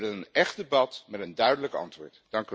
We willen een echt debat met een duidelijk antwoord.